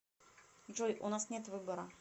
джой у нас нет выбора